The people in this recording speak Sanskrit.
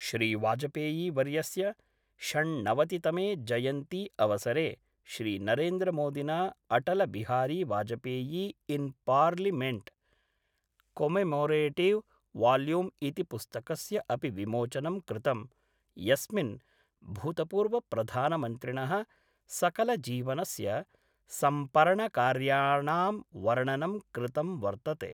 श्रीवाजपेयीवर्यस्य षण्णवतितमे जयन्ती अवसरे श्रीनरेन्द्रमोदिना अटलबिहारीवाजपेयी इन् पार्लियमेंट् कोमेमोरेटिव वॉल्यूम् इति पुस्तकस्य अपि विमोचनं कृतम्, यस्मिन् भूतपूर्वप्रधानमन्त्रिण: सकलजीवनस्य सम्पर्णकार्याणां वर्णनं कृतं वर्तते।